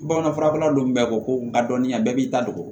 Bamanan fura don bɛɛ ko ko a dɔnniya bɛɛ b'i ta dogo